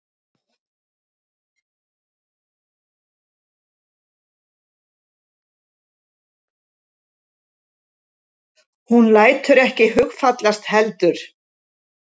Hún lætur ekki hugfallast heldur.